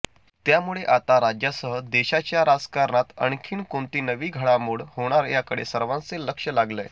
त्यामुळे आता राज्यासह देशाच्या राजकारणात आणखीन कोणती नवी घडामोड होणार याकडेच सर्वांचे लक्ष लागलय